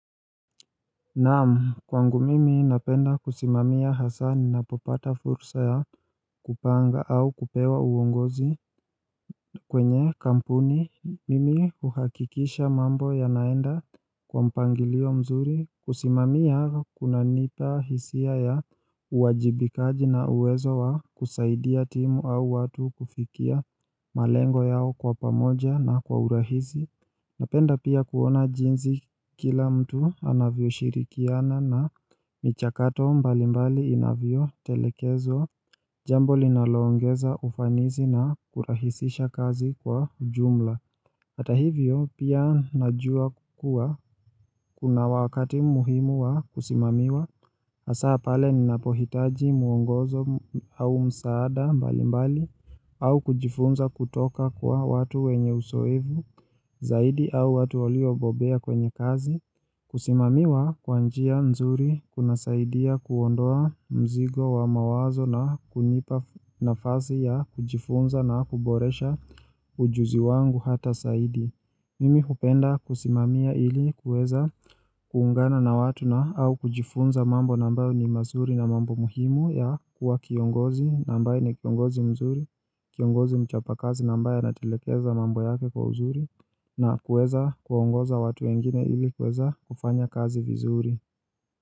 Naam kwangu mimi napenda kusimamia hasaa nina popata fursa ya kupanga au kupewa uongozi kwenye kampuni mimi uhakikisha mambo yanaenda kwa mpangilio mzuri kusimamia kuna nipa hisia ya uwajibikaji na uwezo wa kusaidia timu au watu kufikia malengo yao kwa pamoja na kwa urahizi Napenda pia kuona jinsi kila mtu anavyoshirikiana na michakato mbali mbali inavyotelekezwa Jambo linaloongeza ufanisi na kurahisisha kazi kwa ujumla hAta hivyo pia najua kuwa kuna wakati muhimu wa kusimamiwa hAsa pale ninapohitaji muongozo au msaada mbali mbali au kujifunza kutoka kwa watu wenye uzoevu Zaidi au watu walio bobea kwenye kazi, kusimamiwa kwanjia nzuri, kuna saidia kuondoa mzigo wa mawazo na kunipa nafasi ya kujifunza na kuboresha ujuzi wangu hata zaidi. Mimi hupenda kusimamia ili kuweza kuungana na watu na au kujifunza mambo nambayo ni mazuri na mambo muhimu ya kuwa kiongozi na ambaye ni kiongozi mzuri, kiongozi mchapakazi nambaye anatelekeza mambo yake kwa uzuri. Na kuweza kuongoza watu wengine ili kuweza kufanya kazi vizuri.